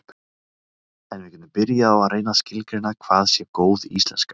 en við getum byrjað á að reyna að skilgreina hvað sé góð íslenska